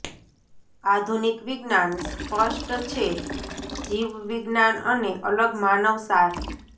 આધુનિક વિજ્ઞાન સ્પષ્ટ છે જીવવિજ્ઞાન અને અલગ માનવ સાર